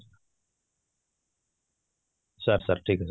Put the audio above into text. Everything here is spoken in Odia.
sir, sir ଠିକ ଅଛି